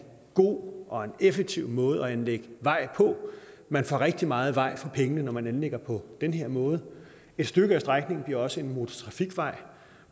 god og effektiv måde at anlægge en vej på man får rigtig meget vej for pengene når man anlægger på den her måde et stykke af strækningen bliver også en motortrafikvej